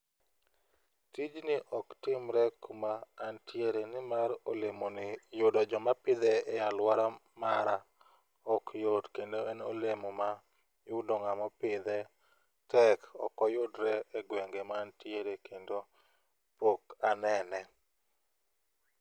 Tijni ok timre kuma antiere nimar olemo ni yudo joma pidhe aluora mara ok yot kendo en olemo ma yudo ng'amo pidhe tek ok oyudre egwenge ma antiere kendo pok anene.